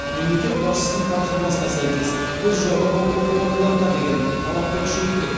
мемлекет басшысының тапсырмасына сәйкес біз жоғарғы оқу орындарына деген талапты күшейттік